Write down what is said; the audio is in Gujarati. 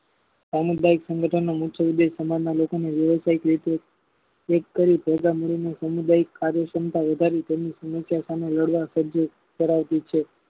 સામુદાયિક સંગઠન નો મુખ્ય ઉદેશ સમાજ ના લોકોનો વ્યવસાયિક રીતે ઉત્કારી સમુદાયીક કાર્યક્ષમતા વધારી તેમની સામે લાડવા ખરાબી છે.